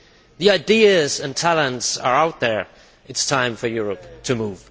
The ideas and talents are out there it is time for Europe to move.